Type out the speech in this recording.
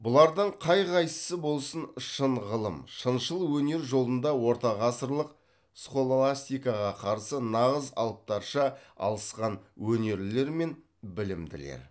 бұлардың қай қайсысы болсын шын ғылым шыншыл өнер жолында ортағасырлық схоластикаға қарсы нағыз алыптарша алысқан өнерлілер мен білімділер